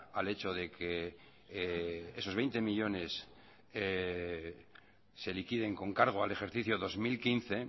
al hecho de que esos veinte millónes se liquiden con cargo al ejercicio dos mil quince